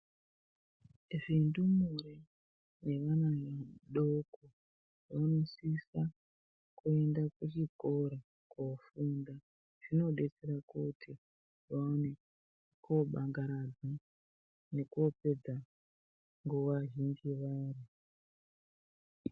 Zvindumure nevana vadoko vanosisa kuenda kuchikora kofunda zvinodetsera kuti vaone kobangaradza nekopedza nguwa yavo.